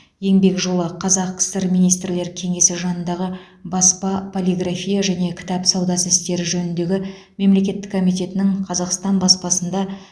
еңбек жолы қазақ кср министрлер кеңесі жанындағы баспа полиграфия және кітап саудасы істері жөніндегі мемлекеттік комитетінің қазақстан баспасында